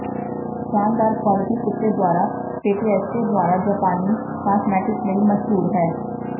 ਸ਼ਾਨਦਾਰ ਕੁਆਲਿਟੀ ਕੁੱਤੇ ਦੁਆਰਾ ਪੈਟਏਸਟੇ ਦੁਆਰਾ ਜਾਪਾਨੀ ਕਾਸਮੈਟਿਕਸ ਲਈ ਮਸ਼ਹੂਰ ਹੈ